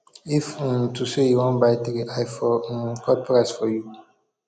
if um to say you wan buy three i um for cut price for you